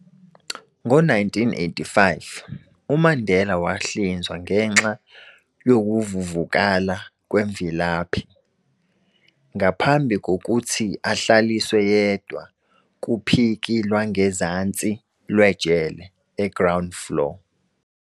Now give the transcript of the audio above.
Ngo-1985, uMandela wahlinzwa ngenxa youvuvukala kwemvilaphi, ngaphambi kokuthi ahlaliswe yedwa kuphiki lwangezansi lwejele e-ground floor.